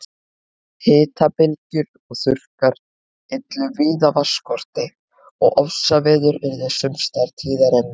Hitabylgjur og þurrkar yllu víða vatnsskorti og ofsaveður yrðu sums staðar tíðari en nú.